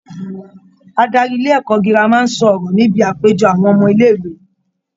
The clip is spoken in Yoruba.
Adarí ilé-ẹ̀kọ́ girama ń sọ ọrọ níbi àpéjọpọ̀ àwọn ọmọ ilẹ̀-ìwé.